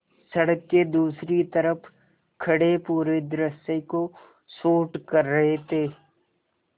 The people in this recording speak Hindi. सड़क के दूसरी तरफ़ खड़े पूरे दृश्य को शूट कर रहे थे